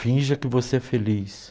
Finja que você é feliz.